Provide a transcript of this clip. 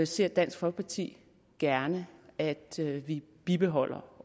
ser dansk folkeparti gerne at vi bibeholder